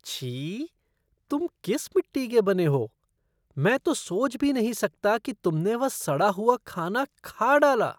छी!, तुम किस मिट्टी के बने हो? मैं तो सोच भी नहीं सकता कि तुमने वह सड़ा हुआ खाना खा डाला!